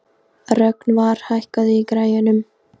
Rögnvar, hækkaðu í græjunum.